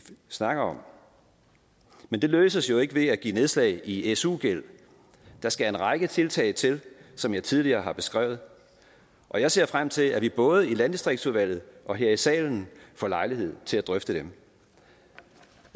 snakker om men det løses jo ikke ved at give nedslag i su gæld der skal en række tiltag til som jeg tidligere har beskrevet og jeg ser frem til at vi både i landdistriktsudvalget og her i salen får lejlighed til at drøfte dem